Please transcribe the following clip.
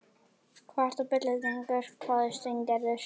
Hvað ertu að bulla drengur? hváði Steingerður.